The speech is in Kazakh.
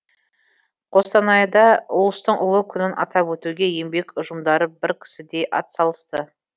қостанайда ұлыстың ұлы күнін атап өтуге еңбек ұжымдары бір кісідей атсалысты